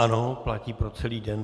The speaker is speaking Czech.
Ano, platí pro celý den.